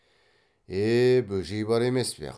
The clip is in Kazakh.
е бөжей бар емес пе